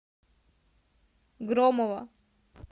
громова